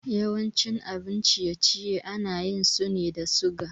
Yawancin abin ciye-ciye ana yin sune da suga